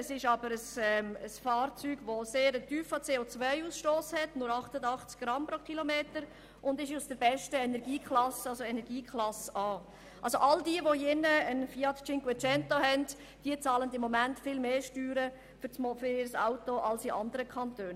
Dieses Fahrzeug hat aber einen sehr tiefen CO-Ausstoss, nämlich nur 88 Gramm pro Kilometer, und es gehört zur besten Energieklasse A. Wer hier im Grossen Rat einen Fiat 500 hat, bezahlt gegenwärtig viel mehr Steuern als in einem anderen Kanton.